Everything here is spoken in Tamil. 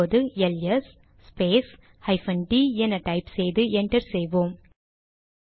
இப்போது எல்எஸ் ஸ்பேஸ் ஹைபன் டிd என டைப் செய்து என்டர் செய்வோம்